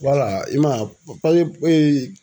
i man ye